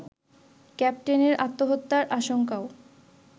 ক্যাপ্টেনের আত্মহত্যার আশঙ্কাও